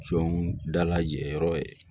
Jɔn dalajɛ yɔrɔ ye